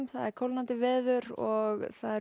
kólnandi veður og